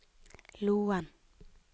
Loen